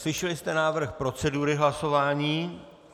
Slyšeli jste návrh procedury hlasování.